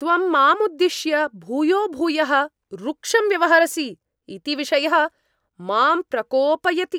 त्वं माम् उद्दिश्य भूयोभूयः रूक्षं व्यवहरसि इति विषयः मां प्रकोपयति।